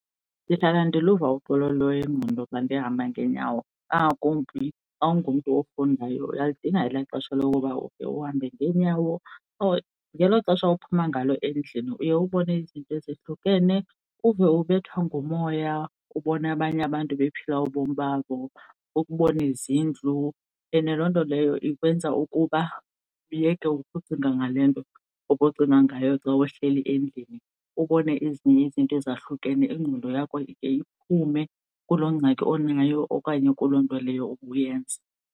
Ndihlala ndiluva uxolo lwengqondo xa ndihamba ngeenyawo, kangakumbi xa ungomntu ofundayo. Uyalidinga ela xesha lokuba ukhe uhambe ngeenyawo, or ngelo xesha uphuma ngalo endlini uye ubone izinto ezihlukene uve ubethwa ngumoya ubona abanye abantu bephila ubomi babo ukubona izindlu. And loo nto leyo ikwenza ukuba uyeke ukucinga ngale nto obucinga ngayo xa uhleli endlini, ubone ezinye izinto ezahlukene ingqondo yakho iye iphume kuloo ngxaki onayo okanye kuloo nto leyo ubuyenza.